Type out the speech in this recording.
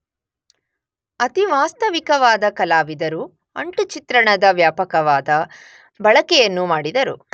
ಅತಿ ವಾಸ್ತವಿಕವಾದ ಕಲಾವಿದರು ಅಂಟು ಚಿತ್ರಣದ ವ್ಯಾಪಕವಾದ ಬಳಕೆಯನ್ನು ಮಾಡಿದರು.